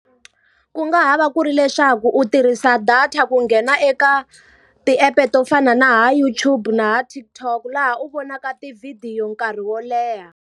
Ku nga ha va ku ri leswaku u tirhisa data ku nghena eka ti-app-e to fana na va YouTube na va TikTok. Laha u vonaka tivhidiyo nkarhi wo leha.